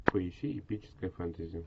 поищи эпическое фэнтези